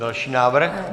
Další návrh?